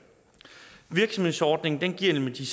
virksomhedsordningen giver nemlig de